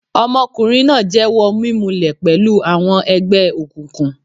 Ọmọkùnrin náà jẹ́wọ́ mímulẹ̀y pẹ̀lú àwọn ẹgbẹ́ òkùnkùn.